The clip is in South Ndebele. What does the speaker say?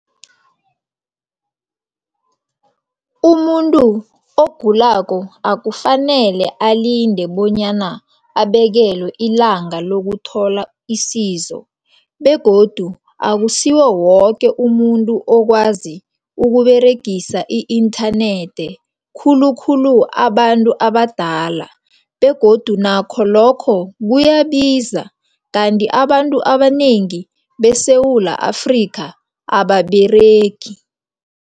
Umuntu ogulako akufanele alinde bonyana abekelwe ilanga lokuthola isizo begodu akusiwo woke umuntu okwazi ukuberegisa i-internet. Khulukhulu abantu abadala begodu nakho lokho kuyabiza. Kanti abantu abanengi beSewula Afrika ababeregi.